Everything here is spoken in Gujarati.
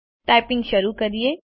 ટાઇપિંગ શરૂ કરીએ